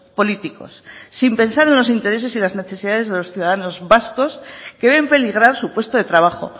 políticos sin pensar en los intereses y en las necesidades de los ciudadanos vascos que ven peligrar su puesto de trabajo